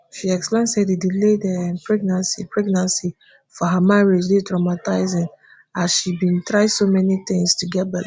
she explain say di delayed um pregnancy pregnancy for her marriage dey traumatizing as she bin try so many tins to get belle